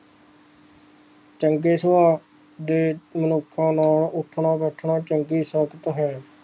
ਚੰਗੇ ਸੁਭਾਵ ਦੇ ਮਨੁੱਖਾਂ ਨਾਲ਼ ਉੱਠਣਾ ਬੈਠਣਾ ਚੰਗੀ ਸਾਹਿਤ ਹੈ